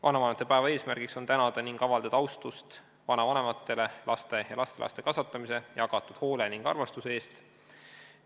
Vanavanemate päeva eesmärk on tänada vanavanemaid ning avaldada neile austust laste ja lastelaste kasvatamise, jagatud hoole ning armastuse eest.